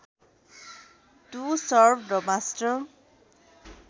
to serve the master